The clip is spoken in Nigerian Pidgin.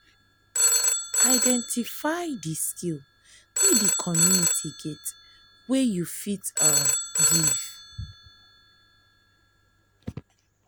identify di skill wey di community get wey you fit um give